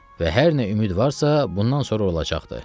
Və hər nə ümid varsa, bundan sonra olacaqdır.